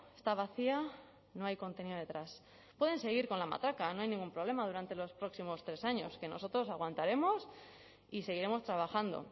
está vacía no hay contenido detrás pueden seguir con la matraca no hay ningún problema durante los próximos tres años que nosotros aguantaremos y seguiremos trabajando